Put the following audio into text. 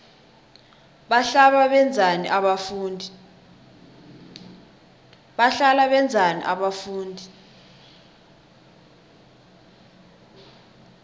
bahlala benzani abafundi